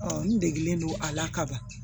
n degelen don a la kaban